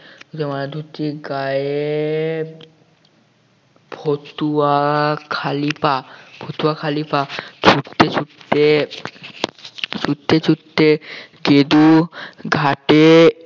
মারা ধুতি গায়ে ফতুয়া খালি পা ফতুয়া খালি পা ছুটতে ছুটতে ছুটতে ছুটতে গেদু ঘাটে